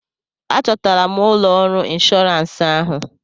A chọtara m ụlọ ọrụ inshọrans ahụ.